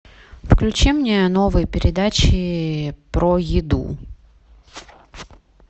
включи мне новые передачи про еду